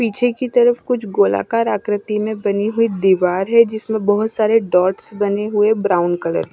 पीछे की तरफ कुछ गोलाकार आकृति में बनी हुई दीवार है जिसमें बहोत सारे डॉट्स बने हुए ब्राउन कलर --